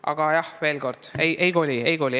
Aga jah, ütlen veel kord, et ministeerium ei koli.